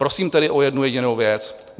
Prosím tedy o jednu jedinou věc.